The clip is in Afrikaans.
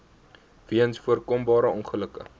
weens voorkombare ongelukke